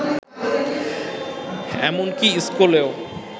এমনকি স্কুলেও